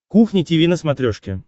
кухня тиви на смотрешке